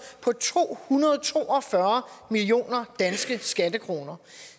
på to hundrede og to og fyrre milliarder danske skattekroner